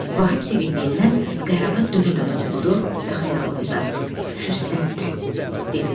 Vahid sevindiyindən qərarı dönə-dönə oxudu və xəyalında: Fürsətdir! dedi.